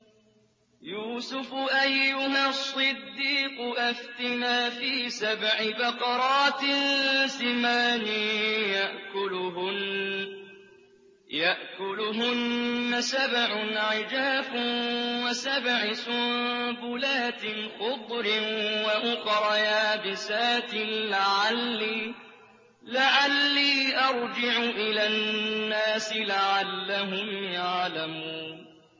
يُوسُفُ أَيُّهَا الصِّدِّيقُ أَفْتِنَا فِي سَبْعِ بَقَرَاتٍ سِمَانٍ يَأْكُلُهُنَّ سَبْعٌ عِجَافٌ وَسَبْعِ سُنبُلَاتٍ خُضْرٍ وَأُخَرَ يَابِسَاتٍ لَّعَلِّي أَرْجِعُ إِلَى النَّاسِ لَعَلَّهُمْ يَعْلَمُونَ